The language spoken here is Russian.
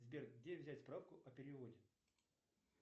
сбер где взять справку о переводе